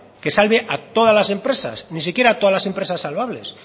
que salve a todas las empresas ni siquiera a todas las empresas salvables